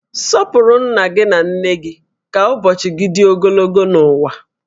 Sọpụrụ nna gị na nne gị ka ụbọchị gị dị ogologo n'ụwa